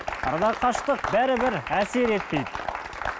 арадағы қашықтық бәрібір әсер етпейді